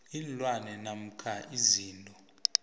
iinlwana namkha izinto